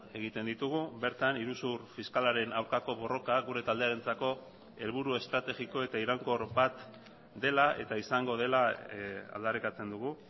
egiten ditugu bertan iruzur fiskalaren aurkako borroka gure taldearentzako helburu estrategiko eta iraunkor bat dela eta izango dela aldarrikatzen dugu